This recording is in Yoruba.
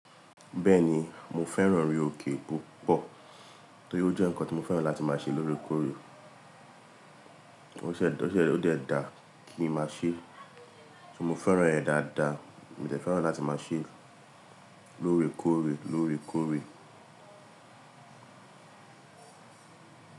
Bẹ́ẹ̀ni, mo fẹ́ràn ori òkè púpọ̀ torí ó jẹ́ nǹkan tí mo fẹ́ràn láti máa ṣe lóore kóre. O ṣe ó dẹ dàa kí n máa ṣe, so mo fẹ́ràn ẹ́ dáadáa, mo tẹ̀ fẹ́ràn láti máa ṣe é lóore kóre, lóore kóre.